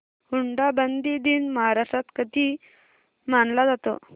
हुंडाबंदी दिन महाराष्ट्रात कधी मानला जातो